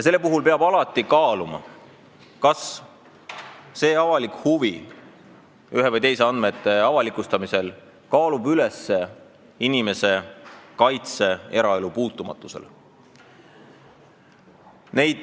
Sellel puhul peab alati kaaluma, kas avalik huvi ühtede või teiste andmete avalikustamise vastu kaalub üles inimese õiguse eraelu puutumatusele.